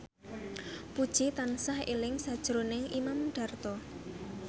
Puji tansah eling sakjroning Imam Darto